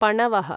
पणवः